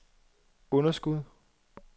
underskud